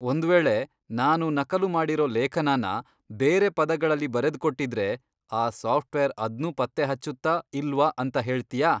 ಒಂದ್ ವೇಳೆ ನಾನು ನಕಲು ಮಾಡಿರೋ ಲೇಖನನ ಬೇರೆ ಪದಗಳಲ್ಲಿ ಬರೆದ್ಕೊಟ್ಟಿದ್ರೆ ಆ ಸಾಫ್ಟ್ವೇರ್ ಅದ್ನೂ ಪತ್ತೆಹಚ್ಚುತ್ತಾ, ಇಲ್ವಾ ಅಂತ ಹೇಳ್ತ್ಯಾ?